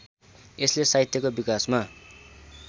यसले साहित्यको विकासमा